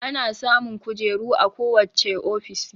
Ana samun kojeru a ko wacce ofishi